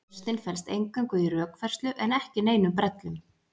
Lausnin felst eingöngu í rökfærslu en ekki neinum brellum.